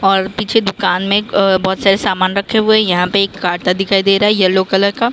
और पीछे दुकान में अ बहोत सारे सामान रखे हुए यहां पे एक काटा दिखाई दे रहा है यल्लो कलर का--